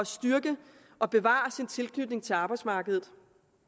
styrke og bevare sin tilknytning til arbejdsmarkedet